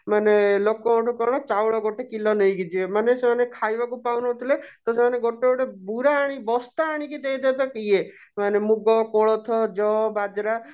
ମାନେ ଲୋକ ଙ୍କ ଠୁ କଣ ଚାଉଳ ଗୋଟେ କିଲୋ ନେଇକି ଯିବେ ମାନେ ସେମାନେ ଖାଇବାକୁ ପାଉନଥିଲେ ତ ସେମାନେ ଗୋଟେ ଗୋଟେ ବୁରା ଆଣି ବସ୍ତା ଆଣିକି ଦେଇଦେବେ ଇଏ ମାନେ ମୁଗ କୋଳଥ ଜଅ ବାଜରା